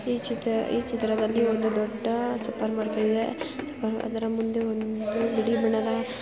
ಈ ಚಿತ್ರದಲ್ಲಿ ಒಂದು ದೊಡ್ಡ ಅಪಾರ್ಟ್‌ಮೆಂಟ್ ಇದೆ ಅದರ ಮುಂದೆ ಒಂದು ಬಿಳಿಬಣ್ಣದ ಕಾರು